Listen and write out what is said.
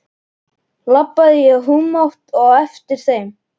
Labbaði í humátt á eftir þeim.